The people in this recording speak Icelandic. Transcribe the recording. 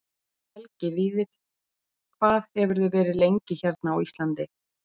Helgi Vífill: Hvað hefurðu verið lengið hérna á Íslandi?